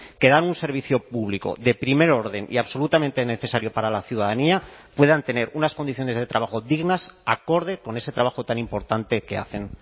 que dan un servicio público de primer orden y absolutamente necesario para la ciudadanía puedan tener unas condiciones de trabajo dignas acorde con ese trabajo tan importante que hacen